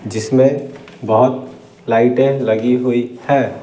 जिसमें बहुत लाइटें लगी हुई है।